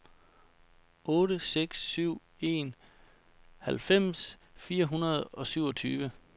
otte seks syv en halvfems fire hundrede og syvogtyve